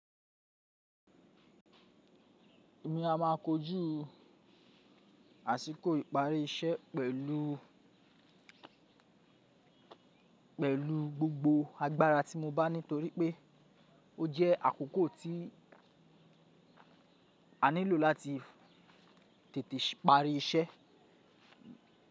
Èmi a ma kojú àsìkò ìparí iṣẹ́ pẹ̀lú, pẹ̀lú gbogbo agbára tí mo bá ní torí pé ó jẹ́ àkókò tí a nílò láti tètè parí iṣẹ́.